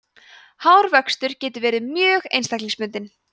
hárvöxtur getur verið mjög einstaklingsbundinn